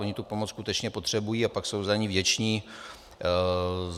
Oni tu pomoc skutečně potřebují a pak jsou za ni vděční.